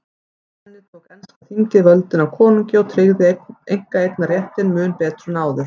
Með henni tók enska þingið völdin af konungi og tryggði einkaeignarréttinn mun betur en áður.